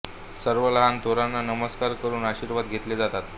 सर्व लहान थोरांना नमस्कार करून आशीर्वाद घेतले जातात